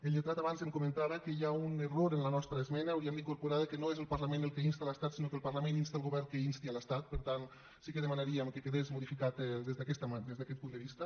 el lletrat abans em comentava que hi ha un error en la nostra esmena hauríem d’incorporar que no és el parlament el que insta l’estat sinó que el parlament insta el govern que insti l’estat per tant sí que demanaríem que quedés modificat des d’aquest punt de vista